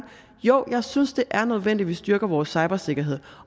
jo jeg synes det er nødvendigt vi styrker vores cybersikkerhed